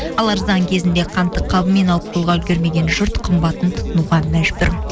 ал арзан кезінде қантты қабымен алып қоюға үлгермеген жұрт қымбатын тұтынуға мәжбүр